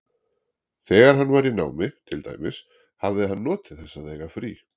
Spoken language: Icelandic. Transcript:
Þegar hann var í námi, til dæmis, hafði hann notið þess að eiga frí.